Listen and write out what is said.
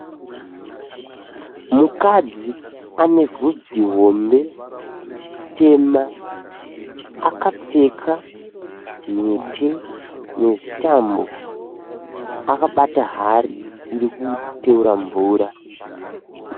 Mukadzi ane vhudzi hombe tema. Akapfeka mhete nezvitambo akabata hari irikuteura mvura.